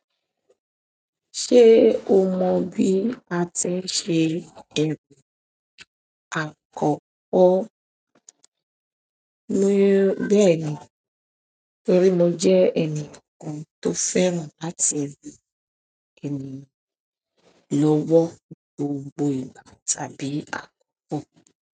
Ṣé o mọ bí a tí ń ṣe ẹ̀rọ àkọ́kọ́? Bẹ́ẹ̀ni torí mo jẹ́ ẹnìkan tó fẹ́ràn láti ràn ènìyàn lọ́wọ́ ní gbogbo ìgbà tàbí àkókò.